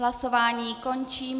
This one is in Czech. Hlasování končím.